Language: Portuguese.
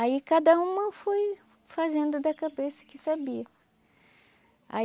Aí cada uma foi fazendo da cabeça o que sabia.